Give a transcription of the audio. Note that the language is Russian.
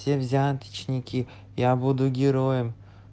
все взяточники я буду героем